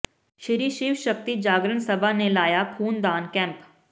ਸ਼੍ਰੀ ਸ਼ਿਵ ਸ਼ਕਤੀ ਜਾਗਰਣ ਸਭਾ ਨੇ ਲਾਇਆ ਖ਼ੂਨਦਾਨ ਕੈਂਪ